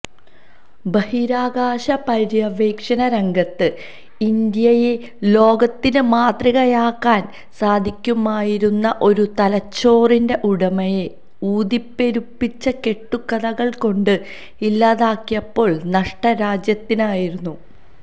ബഹിരാകാശ പര്യവേഷണ രംഗത്ത് ഇന്ത്യയെ ലോകത്തിന് മാതൃകയാക്കാന് സാധിക്കുമായിരുന്ന ഒരു തലച്ചോറിന്റെ ഉടമയെ ഊതിപെരുപ്പിച്ച കെട്ടുക്കഥകള്ക്കൊണ്ട് ഇല്ലാതാക്കിയപ്പോള് നഷ്ടം രാജ്യത്തിനായിരുന്നു